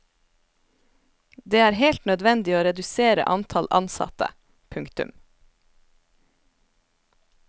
Det er helt nødvendig å redusere antall ansatte. punktum